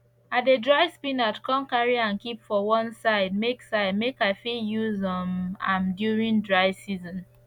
i dey dry spinach come carry am keep for one side make side make i fit use um am during dry season